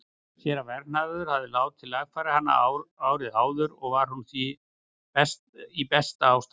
Séra Vernharður hafði látið lagfæra hana árið áður og var hún því í besta ástandi.